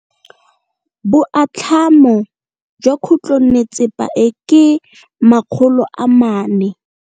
Boatlhamô jwa khutlonnetsepa e, ke 400.